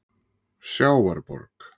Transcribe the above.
Sjávarborg